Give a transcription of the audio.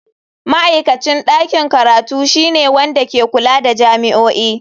Ma'aikacin ɗakin karatu shine wanda ke kula da jami'o'i.